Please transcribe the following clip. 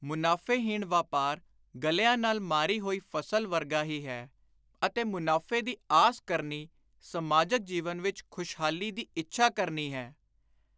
ਮੁਨਾਫ਼ੇਹੀਣ ਵਾਪਾਰ ਗਲਿਆਂ ਨਾਲ ਮਾਰੀ ਹੋਈ ਫ਼ਸਲ ਵਰਗਾ ਹੀ ਹੈ ਅਤੇ ਮੁਨਾਫ਼ੇ ਦੀ ਆਸ ਕਰਨੀ ਸਮਾਜਕ ਜੀਵਨ ਵਿਚ ਖੁਸ਼ਹਾਲੀ ਦੀ ਇੱਛਾ ਕਰਨੀ ਹੈ।